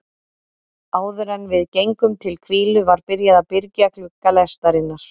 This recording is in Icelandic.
Áðuren við gengum til hvílu var byrjað að byrgja glugga lestarinnar.